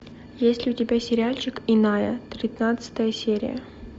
есть ли у тебя сериальчик иная тринадцатая серия